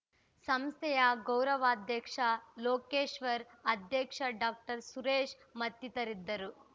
ಸಂಸ್ಥೆಯ ಗೌರವಾಧ್ಯಕ್ಷ ಲೋಕೇಶ್ವರ್‌ ಅಧ್ಯಕ್ಷ ಡಾಕ್ಟರ್ ಸುರೇಶ್‌ ಮತ್ತಿತರಿದ್ದರು